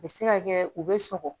U bɛ se ka kɛ u bɛ sɔgɔ